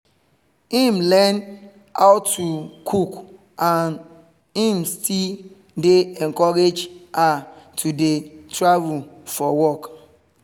im learn how how to cook and im still dey encourage her to dey travel for work